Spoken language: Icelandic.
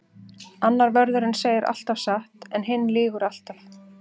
Annar vörðurinn segir alltaf satt en hinn lýgur alltaf.